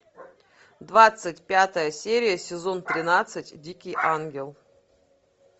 двадцать пятая серия сезон тринадцать дикий ангел